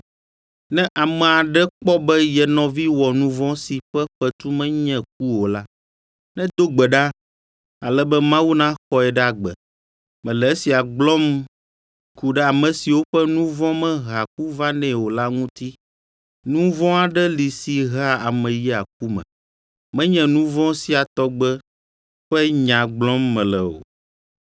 Ne ame aɖe kpɔ be ye nɔvi wɔ nu vɔ̃ si ƒe fetu menye ku o la, nedo gbe ɖa, ale be Mawu naxɔe ɖe agbe. Mele esia gblɔm ku ɖe ame siwo ƒe nu vɔ̃ mehea ku vanɛ o la ŋuti. Nu vɔ̃ aɖe li si hea ame yia ku me, menye nu vɔ̃ sia tɔgbe ƒe nya gblɔm mele o.